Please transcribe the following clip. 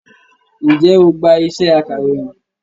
Ǹjẹ́ o gbá iṣẹ́ akàròyìn?